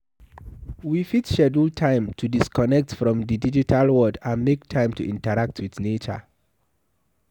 we fit schedule time to disconnect from di digital world and make time to interact with nature